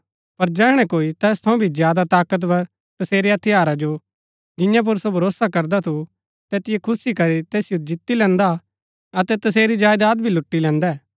पर जैहणै कोई तैस थऊँ भी ज्यादा ताकतवर तसेरै हथियारा जो जिआं पुर सो भरोसा करदा थु तैतिओ खुस्सी करी तैसिओ जित्ती लैन्दा अतै तसेरी जायदात भी लुटी लैन्दै